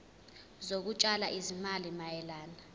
zokutshala izimali mayelana